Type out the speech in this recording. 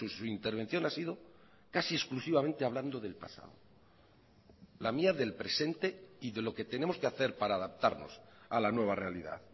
su intervención ha sido casi exclusivamente hablando del pasado la mía del presente y de lo que tenemos que hacer para adaptarnos a la nueva realidad